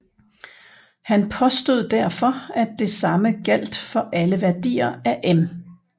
Han påstod derfor at det samme gjaldt for alle værdier af m